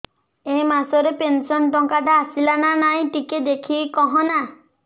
ଏ ମାସ ରେ ପେନସନ ଟଙ୍କା ଟା ଆସଲା ନା ନାଇଁ ଟିକେ ଦେଖିକି କହନା